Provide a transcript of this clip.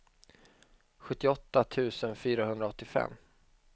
sjuttioåtta tusen fyrahundraåttiofem